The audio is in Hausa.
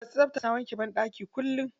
Masu tsabta suna wanke banɗaki kullum.